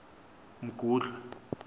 mgudlwa